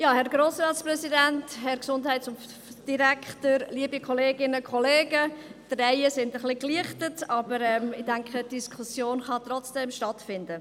Die Reihen sind etwas gelichtet, aber ich denke, die Diskussion kann trotzdem stattfinden.